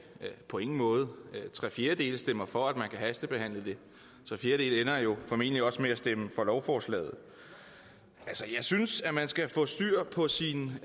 på ingen måde tre fjerdedele stemmer for at man kan hastebehandle det tre fjerdedele ender jo formentlig også med at stemme for lovforslaget jeg synes at man skal få styr på sine